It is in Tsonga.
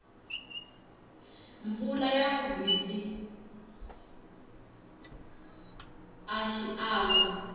mpfula ya gwitsi a xiangu